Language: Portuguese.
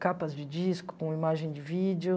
Capas de disco, com imagem de vídeo.